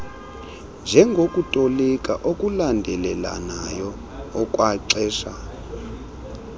njengokutolika okulandelelanayo okwaxesha